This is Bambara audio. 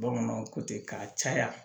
Bamananw ko ten k'a caya